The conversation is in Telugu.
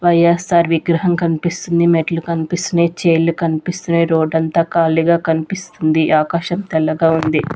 వైయస్సార్ విగ్రహం కనిపిస్తుంది మెట్లు కనిపిస్తున్నాయి చైర్లు కనిపిస్తున్నాయి రోడ్ అంతా ఖాళీగా కనిపిస్తుంది ఆకాశం తెల్లగా ఉంది.